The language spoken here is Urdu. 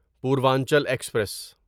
پوروانچل ایکسپریس